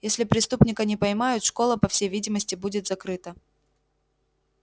если преступника не поймают школа по всей видимости будет закрыта